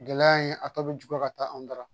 Gɛlɛya in a tɔ bɛ juguya ka taa an dara